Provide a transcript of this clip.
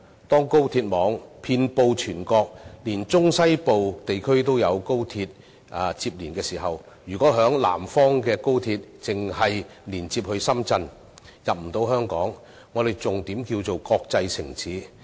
當高鐵網遍布全國，連中西部地區亦有高鐵連接時，如果在南方的高鐵只能連接深圳而無法進入香港，我們還如何稱得上國際城市？